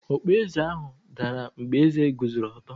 Okpueze ahụ dara mgbe eze guzoro ọtọ.